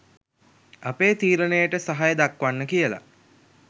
අපේ තීරණයට සහය දක්වන්න කියලා.